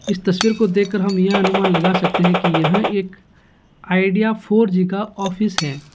इस तस्वीर को देखकर हम यह अनुमान लगा सकते है की यह एक आइडिआ फोर (four) जी का ऑफिस है।